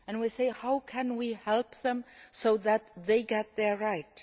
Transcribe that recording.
and we say how can we help them so that they get their rights?'